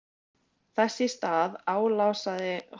Þess í stað álasaði hann sjálfum sér fyrir að hafa mætt í boðið.